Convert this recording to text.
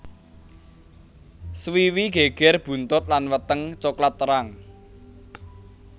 Swiwi geger buntut lan weteng coklat terang